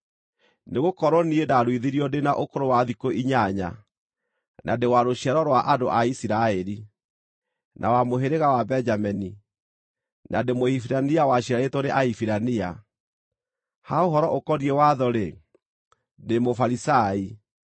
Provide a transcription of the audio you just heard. Nĩgũkorwo niĩ ndaruithirio ndĩ na ũkũrũ wa thikũ inyanya, na ndĩ wa rũciaro rwa andũ a Isiraeli, na wa mũhĩrĩga wa Benjamini, na ndĩ Mũhibirania waciarĩtwo nĩ Ahibirania. Ha ũhoro ũkoniĩ watho-rĩ, ndĩ Mũfarisai;